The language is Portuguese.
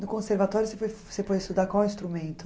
No conservatório você foi você foi estudar qual instrumento?